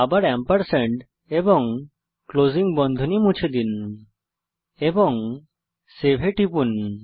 আবার এম্পারস্যান্ড এবং ক্লোজিং বন্ধনী মুছে দিন এবং সেভ এ টিপুন